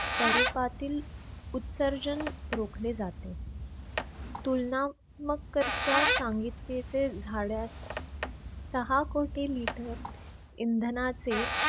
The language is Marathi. स्वरूपातील उत्सर्जन रोखले जाते तुलना सहा कोटी लिटर इं